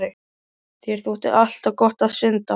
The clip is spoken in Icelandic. Þér þótti alltaf gott að synda